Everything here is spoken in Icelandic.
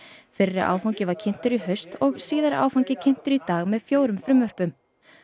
fyrri áfangi var kynntur í haust og síðari áfangi kynntur í dag með fjórum frumvörpum